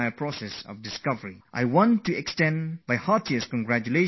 I would like to extend my hearty congratulations to all those scientists